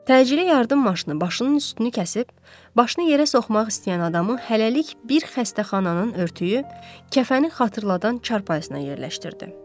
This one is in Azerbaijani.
Təcili yardım maşını başının üstünü kəsib, başını yerə soxmaq istəyən adamı hələlik bir xəstəxananın örtüyü, kəfəni xatırladan çarpayısına yerləşdirdi.